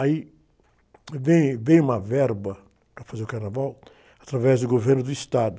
Aí, eh, veio, veio uma verba para fazer o carnaval através do governo do Estado.